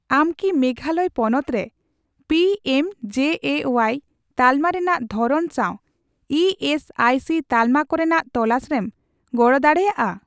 ᱟᱢ ᱠᱤ ᱢᱮᱜᱷᱟᱞᱚᱭ ᱯᱚᱱᱚᱛ ᱨᱮ ᱯᱤᱮᱢᱡᱮᱮᱣᱟᱭ ᱛᱟᱞᱢᱟ ᱨᱮᱱᱟᱜ ᱫᱷᱚᱨᱚᱱ ᱥᱟᱣ ᱤ ᱮᱥ ᱟᱤ ᱥᱤ ᱛᱟᱞᱢᱟ ᱠᱚᱨᱮᱱᱟᱜ ᱛᱚᱞᱟᱥᱨᱮᱢ ᱜᱚᱲᱚ ᱫᱟᱲᱮᱭᱟᱜᱼᱟ ?